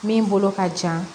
Min bolo ka jan